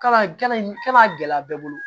Kalama gɛlɛya bɛɛ bolo